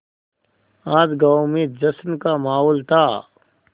आज गाँव में जश्न का माहौल था